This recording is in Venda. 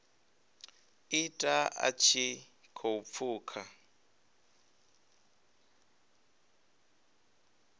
ita a tshi khou pfuka